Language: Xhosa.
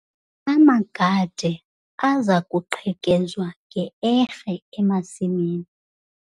Amagade aza kuqhekezwa nge-erhe emasimini.